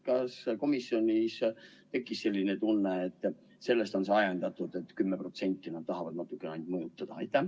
Kas komisjonis tekkis selline tunne, et sellest on ajendatud see, et nad ainult 10% tahavad natukene muuta?